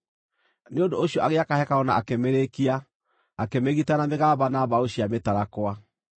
Nĩ ũndũ ũcio agĩaka hekarũ na akĩmĩrĩkia, akĩmĩgita na mĩgamba na mbaũ cia mĩtarakwa.